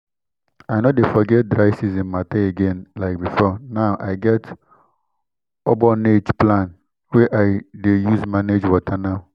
i no dey forget dry season mata again like before now i get ogbonge plan wey i dey use manage water now